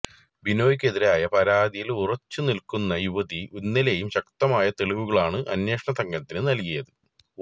ബിനോയിക്കെതിരായ പരാതിയിൽ ഉറച്ച് നിൽക്കുന്ന യുവതി ഇന്നലേയും ശക്തമായ തെളിവുകളാണ് അന്വേഷണ സംഘത്തിന് നൽകിയത്